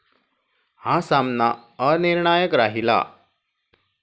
हा सामना अनिर्णायक राहिला.